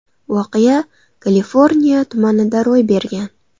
Voqea Kaliforniya tumanida ro‘y bergan.